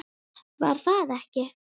Var það ekki????